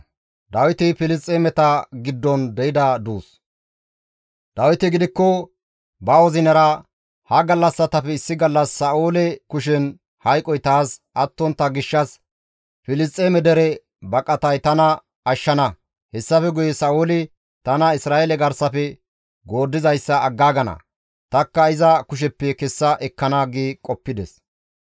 Dawiti gidikko ba wozinara, «Ha gallassatappe issi gallas Sa7oole kushen hayqoy taas attontta gishshas Filisxeeme dere baqatay tana ashshana; hessafe guye Sa7ooli tana Isra7eele garsafe gooddizayssa aggaagana; tanikka iza kusheppe kessa ekkana» gi qoppides.